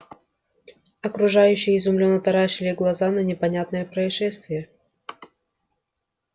окружающие изумлённо таращили глаза на непонятное происшествие